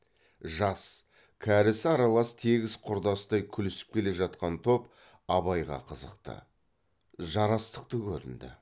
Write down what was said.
жас кәрісі аралас тегіс құрдастай күлісіп келе жатқан топ абайға қызықты жарастықты көрінді